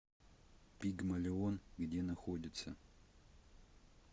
пигмалион где находится